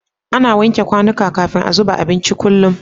Ana wanke kwanika kafin a zuba abinci kullum